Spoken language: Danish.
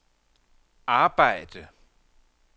arbejde